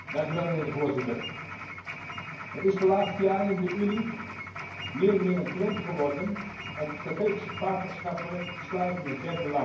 Voorzitter, het is de laatste jaren in de Unie meer en meer een trend geworden om strategische partnerschappen te sluiten met derde landen.